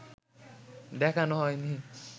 দেখানো হয়নি